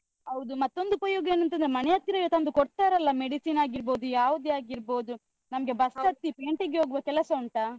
ಹೌದು ಮತ್ತೊಂದು ಉಪಯೋಗ ಏನ್ ಅಂತ್ ಅಂದ್ರೆ, ಮನೆ ಹತ್ರವೇ ತಂದು ಕೊಡ್ತಾರಲ್ಲ medicine ಆಗಿರ್ಬೋದು, ಯಾವುದೇ ಆಗಿರ್ಬೋದು ನಮ್ಗೆ ಬಸ್ಸ್ ಹತ್ತಿ ಪೇಂಟೆಗೆ ಹೋಗುವ ಕೆಲಸ ಉಂಟಾ?